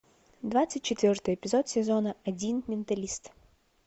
двадцать четвертый эпизод сезона один менталист